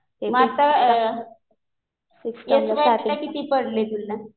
मग आता एस वायला किती पडले तुला?